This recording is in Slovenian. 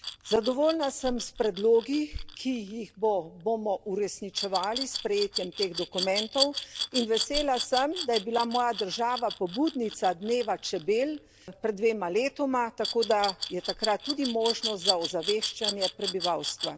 Zadovoljna sem s predlogi, ki jih bomo uresničevali s sprejetjem teh dokumentov in vesela sem, da je bila moja država pobudnica dneva čebel pred dvema letoma, tako da je takrat tudi možnost za ozaveščanje prebivalstva.